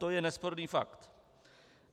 To je nesporný fakt.